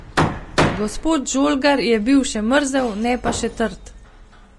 Gospod Žolgar je bil že mrzel, ne pa še trd.